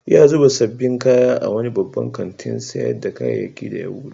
Ya zuba sabbin kaya a wani babban kantin sayar da kayyaki da ya bude.